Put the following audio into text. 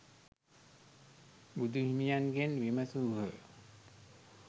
බුදුහිමියන්ගෙන් විමසූහ.